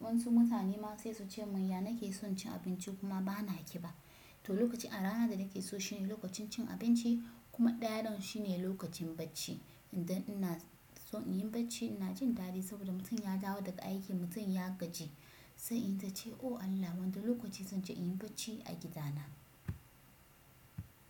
Wasu mutane ma sai su ce mun ya nake son cin abinci kuma bana ƙiba. To lokaci a rana da nake so shine lokacin cin abinci kuma ɗaya ɗin shine lokacin bacci. Idan ina son in yi bacci ina jin daɗi saboda mutum ya dawo daga aiki, mutum ya gaji. Sai in ta ce o Allah wanda lokaci zan je in yi bacci a gidana.